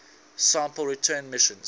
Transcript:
sample return missions